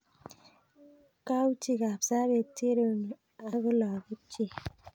Kauchi Kapsabet Cherono ak lagok chik.